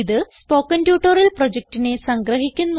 ഇത് spoken tutorial പ്രൊജക്റ്റിനെ സംഗ്രഹിക്കുന്നു